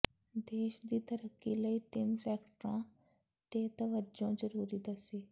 ਦੇਸ਼ ਦੀ ਤਰੱਕੀ ਲਈ ਤਿਨ ਸੈਕਟਰਾਂ ਤੇ ਤਵੱਜੋ ਜ਼ਰੂਰੀ ਦੱਸੀ